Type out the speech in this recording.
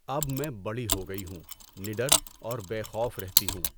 اب میں بڑی ہو گئی ہوں، نڈر اور بے خوف رہتی ہوں۔